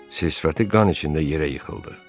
Sil-sifəti qan içində yerə yıxıldı.